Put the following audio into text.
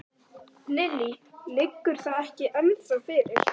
Lillý: Liggur það ekki ennþá fyrir?